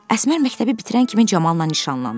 Əsmər məktəbi bitirən kimi Camalla nişanlandı.